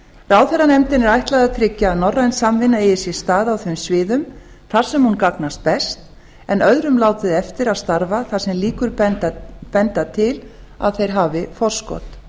ráðherranefndinni er ætlað að tryggja að norræn samvinna eigi sér stað á þeim sviðum þar sem hún gagnast best en öðrum látið eftir að starfa þar sem líkur benda til að þeir hafi forskot